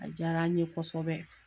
A diyara an ɲe kosɛbɛ